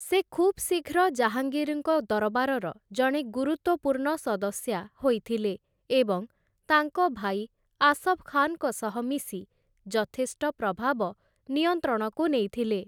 ସେ ଖୁବ୍ ଶୀଘ୍ର ଜାହାଙ୍ଗୀର୍‍ଙ୍କ ଦରବାରର ଜଣେ ଗୁରୁତ୍ୱପୂର୍ଣ୍ଣ ସଦସ୍ୟା ହୋଇଥିଲେ ଏବଂ ତାଙ୍କ ଭାଇ ଆସଫ୍ ଖାନ୍‍ଙ୍କ ସହ ମିଶି ଯଥେଷ୍ଟ ପ୍ରଭାବ ନିୟନ୍ତ୍ରଣକୁ ନେଇଥିଲେ ।